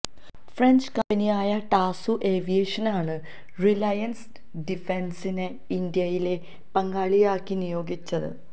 French കമ്പനിയായ Dassault ഏവിയേഷനാണ് Reliance ഡിഫന്സിനെ ഇന്ത്യയിലെ പങ്കാളിയാക്കി നിയോഗിച്ചത്